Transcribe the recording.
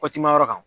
Kɔti ma yɔrɔ kan